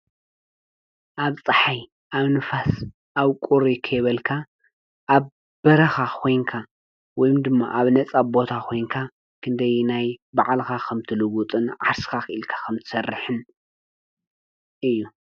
ኣብ ፀሓይ ኣብ ንፋስ ኣብ ቁር ኸየበልካ ኣብ በራኻ ዄንካ ወይም ድማ ኣብ ነጸ ኣቦታ ዄንካ ክንደይናይ ብዕልኻ ኸምት ልውጥን ዓስካኢልከ ኸምቲ ሠርሕን እዩ።